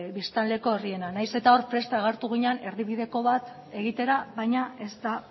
biztanleko herriena nahiz eta hor prest agertu ginen erdibideko bat egitera baina ez da